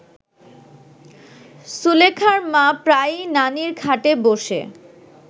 সুলেখার মা প্রায়ই নানির খাটে বসে